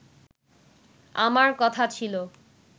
আমার কথা ছিল